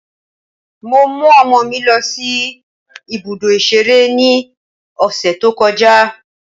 Mo mú ọmọ mi lọ sí ibùdó ìṣeré ní ọ̀sẹ̀ tó kọjá.